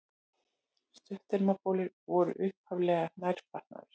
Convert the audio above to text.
Stuttermabolir voru upphaflega nærfatnaður.